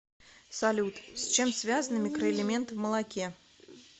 салют с чем связаны микроэлементы в молоке